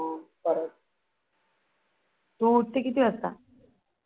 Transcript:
तू उठते किती वाजता?